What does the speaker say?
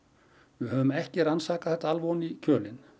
við höfum ekki rannsakað þetta ofan í kjölinn